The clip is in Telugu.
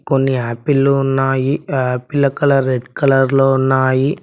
కొన్ని యాపిల్లు ఉన్నాయి ఆపిల్ల కలర్ రెడ్ కలర్లో ఉన్నాయి.